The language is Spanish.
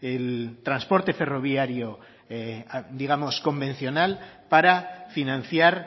el transporte ferroviario digamos convencional para financiar